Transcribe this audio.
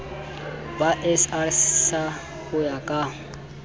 ba srsa ho ya ka